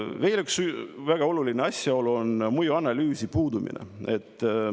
" Veel üks väga oluline asjaolu on mõjuanalüüsi puudumine.